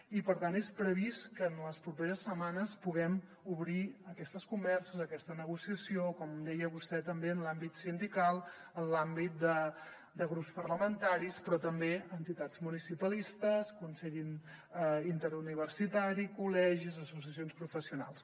i per tant és previst que en les properes setmanes puguem obrir aquestes converses aquesta negociació com deia vostè també en l’àmbit sindical en l’àmbit de grups parlamentaris però també entitats municipalistes consell interuniversitari col·legis associacions professionals